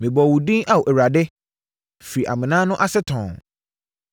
Mebɔɔ wo din, Ao Awurade firi amena no ase tɔnn.